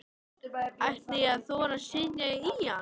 Ætti ég að þora að setjast í hann?